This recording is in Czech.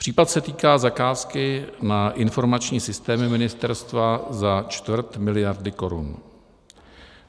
Případ se týká zakázky na informační systémy ministerstva za čtvrt miliardy korun.